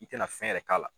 I tɛna fɛn yɛrɛ k'a la